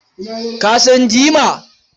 Ka san jima?